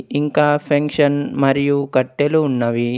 ఇంకా ఫెంక్షన్ మరియు కట్టెలు ఉన్నవి.